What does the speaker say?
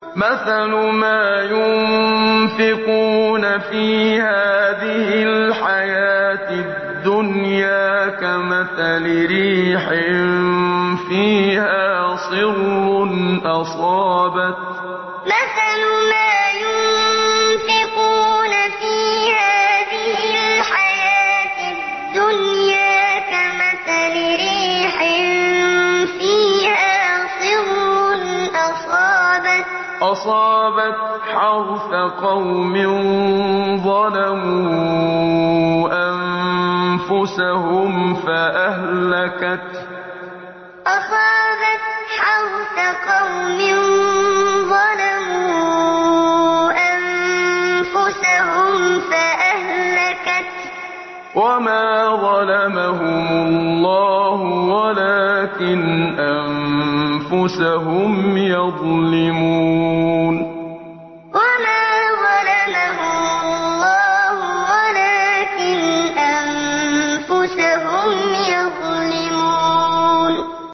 مَثَلُ مَا يُنفِقُونَ فِي هَٰذِهِ الْحَيَاةِ الدُّنْيَا كَمَثَلِ رِيحٍ فِيهَا صِرٌّ أَصَابَتْ حَرْثَ قَوْمٍ ظَلَمُوا أَنفُسَهُمْ فَأَهْلَكَتْهُ ۚ وَمَا ظَلَمَهُمُ اللَّهُ وَلَٰكِنْ أَنفُسَهُمْ يَظْلِمُونَ مَثَلُ مَا يُنفِقُونَ فِي هَٰذِهِ الْحَيَاةِ الدُّنْيَا كَمَثَلِ رِيحٍ فِيهَا صِرٌّ أَصَابَتْ حَرْثَ قَوْمٍ ظَلَمُوا أَنفُسَهُمْ فَأَهْلَكَتْهُ ۚ وَمَا ظَلَمَهُمُ اللَّهُ وَلَٰكِنْ أَنفُسَهُمْ يَظْلِمُونَ